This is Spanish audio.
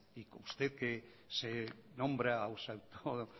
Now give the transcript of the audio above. y usted que se nombra o